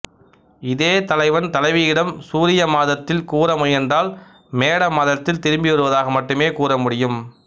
இதே தலைவன் தலைவியிடம் சூரியமாதத்தில் கூற முயன்றால் மேட மாதத்தில் திரும்பி வருவதாக மட்டுமே கூற முடியும்